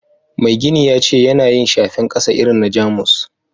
Mai gini ya ce yana yin shafen kasa irin na jamus